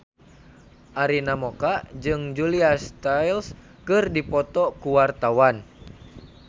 Arina Mocca jeung Julia Stiles keur dipoto ku wartawan